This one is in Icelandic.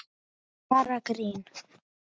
Bara grín!